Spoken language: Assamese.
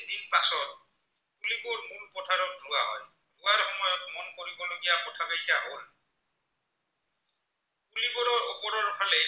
ওপৰৰ ফালে